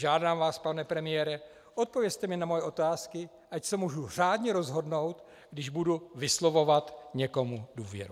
Žádám vás, pane premiére, odpovězte mi na moje otázky, ať se mohu řádně rozhodnout, když budu vyslovovat někomu důvěru.